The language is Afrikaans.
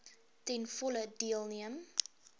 ten volle deelneem